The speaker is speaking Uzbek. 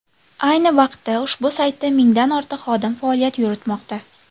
Ayni vaqtda ushbu saytda mingdan ortiq xodim faoliyat yuritmoqda.